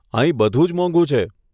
અહીં બધું જ મોંઘુ છે.